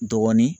Dɔɔnin